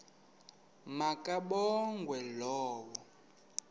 ma kabongwe low